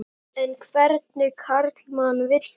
En hvernig karlmann vil hún?